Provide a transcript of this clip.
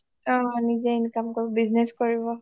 নিজে income কৰিব business কৰিব